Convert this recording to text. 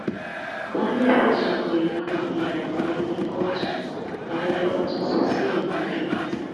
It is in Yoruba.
baálé fẹ̀sùn àgbèrè kan ìyàwó ẹ̀ ní kóòtù làdájọ́ bá tún sọ ọ́ sẹ́wọ̀n oṣù mẹ́ta